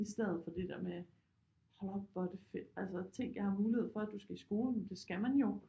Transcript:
I stedet for det der med hold op hvor er det fedt altså tænk at jeg har mulighed for at du skal i skole men det skal man jo